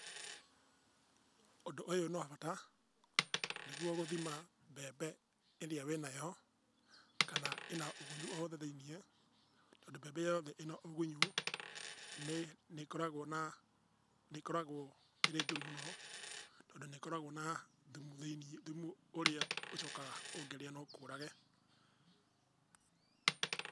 Ũndũ ũyũ nĩ wa bata nĩguo gũthima mbembe ĩrĩa wĩ nayo kana ĩna ũgunyu o wothe thĩiniĩ tondũ mbembe yothe ĩna ũgunyu nĩ ĩkoragwo na, nĩ ĩkoragwo ĩrĩ njũru mũno tondũ nĩ ĩkoragwo na thumu thĩiniĩ, thumu ũrĩa ũcokaga ũngĩrĩa no ũkũũrage.